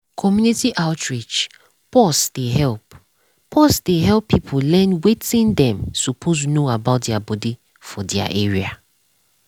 community outreach -pause dey help -pause dey help people learn wetin dem suppose know about their body for their area.